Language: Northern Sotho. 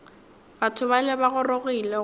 batho bale ba gorogile go